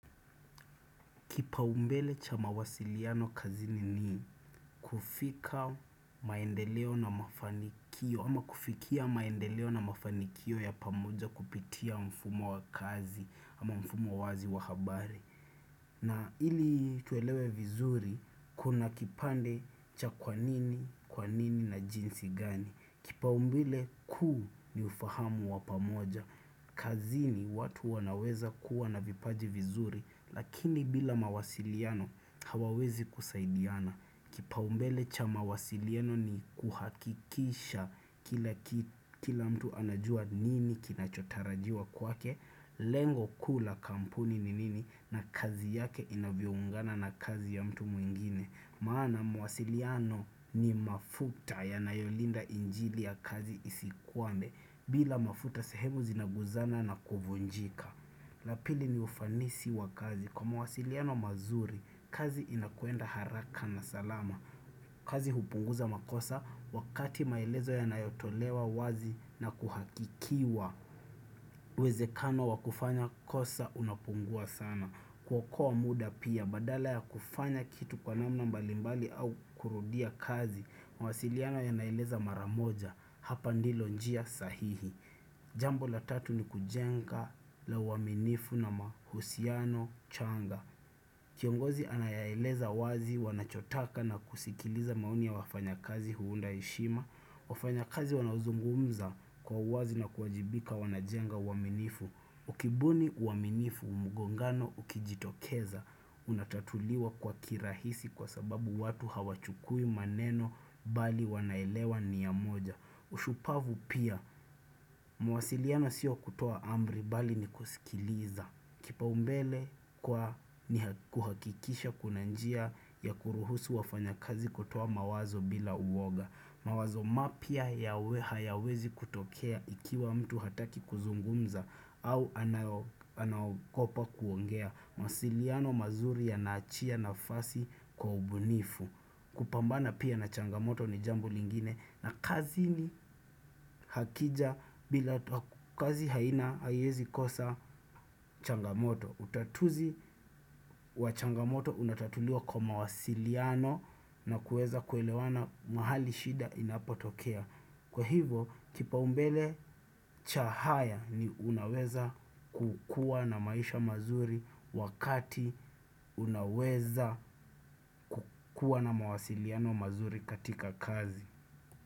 Kipaumbele cha mawasiliano kazini ni kufika maendeleo na mafanikio ama kufikia maendeleo na mafanikio ya pamoja kupitia mfumo wa kazi ama mfumo wazi wa habari. Na ili tuelewe vizuri kuna kipande cha kwanini, kwanini na jinsi gani. Kipaumbele kuu ni ufahamu wapamoja. Kazini watu wanaweza kuwa na vipaji vizuri lakini bila mawasiliano hawawezi kusaidiana. Kipaumbele cha mawasiliano ni kuhakikisha kila mtu anajua nini kinachotarajiwa kwake. Lengo kuu la kampuni ni nini na kazi yake inavyoungana na kazi ya mtu mwingine. Maana mawasiliano ni mafuta ya nayolinda injini ya kazi isikuwame. Bila mafuta sehemu zinaguzana na kuvunjika. Lapili ni ufanisi wa kazi. Kwa mawasiliano mazuri, kazi inakuenda haraka na salama. Kazi hupunguza makosa wakati maelezo ya nayotolewa wazi na kuhakikiwa. Uwezekano wakufanya kosa unapungua sana. Ku okoa muda pia badala ya kufanya kitu kwa namna mbalimbali au kurudia kazi mawasiliano ya naeleza mara moja hapa ndilo njia sahihi. Jambo la tatu ni kujenga la uaminifu na mahusiano changa. Kiongozi anayaeleza wazi wanachotaka na kusikiliza maoni ya wafanya kazi huunda heshima. Wafanya kazi wanazungumza kwa uwazi na kuwajibika wanajenga uaminifu. Ukibuni uaminifu mgongano ukijitokeza, unatatuliwa kwa kirahisi kwa sababu watu hawachukui maneno bali wanaelewa nia moja. Ushupavu pia, mawasiliano siyo kutoa ambri bali ni kusikiliza. Kipaumbele kwa ni kuhakikisha kunanjia ya kuruhusu wafanyakazi kutoa mawazo bila uoga. Mawazo mapya hayawezi kutokea ikiwa mtu hataki kuzungumza au anaogopa kuongea. Mawasiliano mazuri yanaachia na fasi kwa ubunifu. Kupambana pia na changamoto ni jambo lingine na kazini akija bila kazi haina haiwezi kosa changamoto. Utatuzi wa changamoto unatatuliwa kwa mawasiliano na kuweza kuelewana mahali shida inapo tokea. Kwa hivyo kipaumbele cha haya ni unaweza kukuwa na maisha mazuri wakati unaweza kukuwa na mawasiliano mazuri katika kazi.